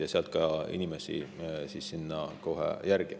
Ja sealt edasi lähen kohe ka inimeste juurde.